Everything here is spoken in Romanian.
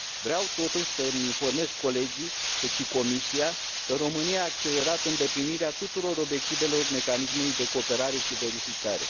Vreau totuși să mi informez colegii, cât și Comisia, că România a accelerat îndeplinirea tuturor obiectivelor mecanismului de cooperare și verificare.